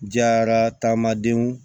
Diyara taama denw